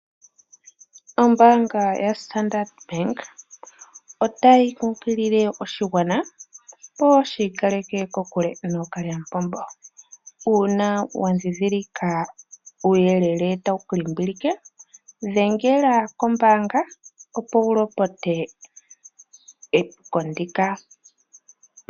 Ombaanga yoStandard otayi kunkilile oshigwana opo shiikaleke kokule nookalyamupombo uuna wandhindhilika uuyelele tawu kulimbilike , dhengela kombaanga opo wulopote epuko ndika.